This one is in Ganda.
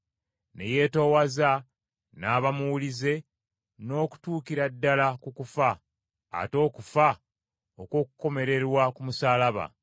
ne yeetoowaza, n’aba muwulize n’okutuukira ddala ku kufa, ate okufa okw’okukomererwa ku musaalaba.